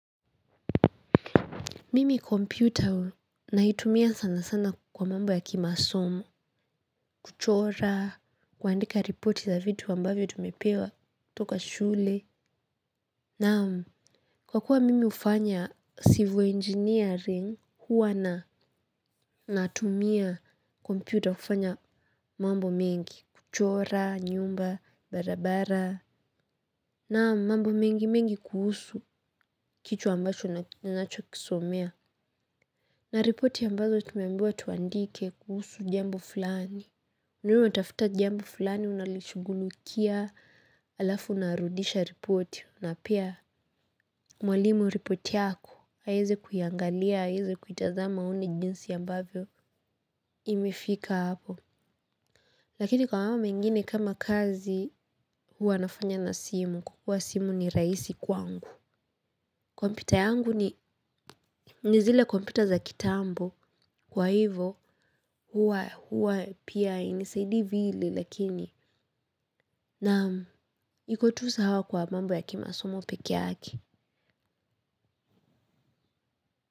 Mimi kompyuta naitumia sana sana kwa mambo ya kimasomo, kuchora, kuandika ripoti za vitu ambavyo tumepewa kutoka shule. Naam, kwa kuwa mimi hufanya civil engineering huwa na natumia kompyuta kufanya mambo mengi, kuchora, nyumba, barabara. Naam, mambo mengi mengi kuhusu kitu ambacho ninacho kisomea. Na ripoti ambazo tumeambiwa tuandike kuhusu jambo fulani. Ni wewe unatafuta jambo fulani unalishighulikia alafu unarudisha ripoti. Na pia mwalimu ripoti yako haiwezi kuiangalia hawezi kuitazama aone jinsi ambavyo imefika hapo. Lakini kwa mambo mengine kama kazi huwa nafanya na simu. Kwa simu ni rahisi kwangu. Kompyuta yangu ni ni zile kompyuta za kitambo kwa hivo hua hua pia hanisidii vile lakini naam iko tu sawa kwa mambo ya kimasomo peke yake.